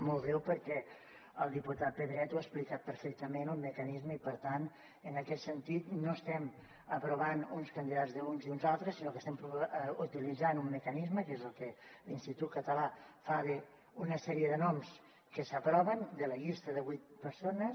molt breu perquè el diputat pedret ha explicat perfectament el mecanisme i per tant en aquest sentit no estem aprovant uns candidats d’uns i uns altres sinó que estem utilitzant un mecanisme que és el que l’institut català fa d’una sèrie de noms que s’aproven de la llista de vuit persones